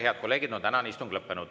Head kolleegid, tänane istung on lõppenud.